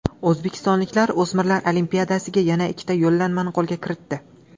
O‘zbekistonliklar o‘smirlar Olimpiadasiga yana ikkita yo‘llanmani qo‘lga kiritdi.